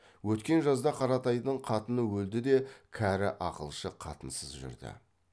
өткен жазда қаратайдың қатыны өлді де кәрі ақылшы қатынсыз жүрді